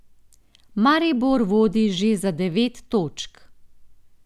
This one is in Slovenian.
Maribor vodi že za devet točk.